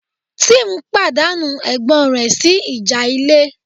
Tim pàdánù ẹ̀gbọ́n rẹ̀ sí ìjà ilé